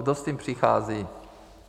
Kdo s tím přichází?